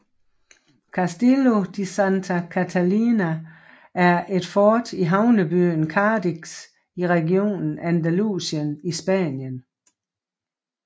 Castillo de Santa Catalina er et fort i havnebyen Cadiz i regionen Andalusien i Spanien